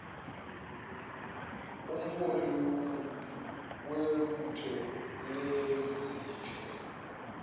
umholi webutho lezichwe